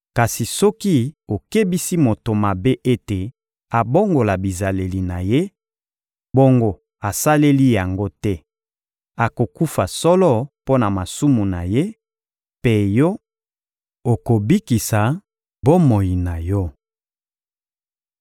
Kasi soki okebisi moto mabe ete abongola bizaleli na ye, bongo asaleli yango te, akokufa solo mpo na masumu na ye; mpe yo, okobikisa bomoi na yo.